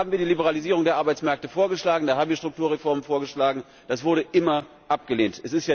Da haben wir die Liberalisierung der Arbeitsmärkte vorgeschlagen, da haben wir Strukturreformen vorgeschlagen, das wurde immer abgelehnt.